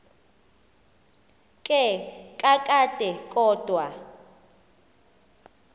ke kakade kodwa